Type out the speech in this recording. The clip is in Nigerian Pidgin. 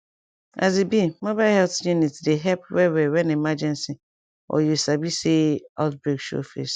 as e be mobile health unit dey help wellwell when emergency or you sabi say outbreak show face